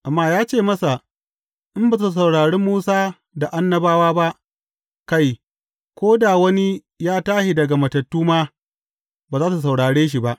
Amma ya ce masa, In ba su saurari Musa da Annabawa ba, kai, ko da wani ya tashi daga matattu ma, ba za su saurare shi ba.